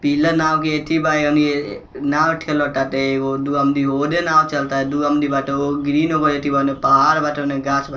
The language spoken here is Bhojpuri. पीला नाव के एथी बा ओनि ये नाव ठेला ताटे एगो-दू आदमी ओने नाव चलता दू आदमी बाटे एगो ग्रीन बा अथी बाने एगो पहाड़ बाटे ओने गाछ ब --